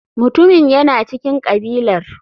Mutumin yana cikin kabilar.